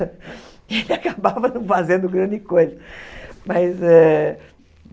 E ele acabava não fazendo grande coisa. Mas é